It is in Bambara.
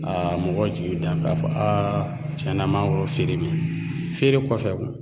mɔgɔw jigi bɛ taa k'a fɔ aa tiɲɛ na an mangoro feere bɛ yen feere kɔfɛ